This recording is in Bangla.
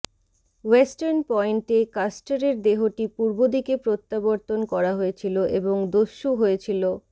ওয়েস্টার্ন পয়েন্টে কাস্টারের দেহটি পূর্বদিকে প্রত্যাবর্তন করা হয়েছিল এবং দস্যু হয়েছিল